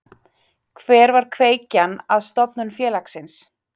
Hver var kveikjan að stofnun félagsins?